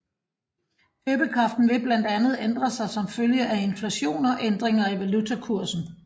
Købekraften vil blandt andet ændre sig som følge af inflation og ændringer i valutakursen